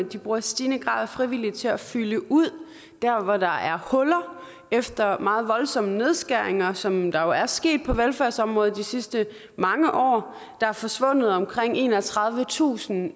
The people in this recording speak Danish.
de bruger i stigende grad frivillige til at fylde ud der hvor der er huller efter meget voldsomme nedskæringer som der jo er sket på velfærdsområdet de sidste mange år der er forsvundet omkring enogtredivetusind